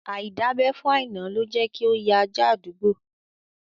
Aidabe fún Aina ló jẹ́ kí ó ya ajá àdúgbò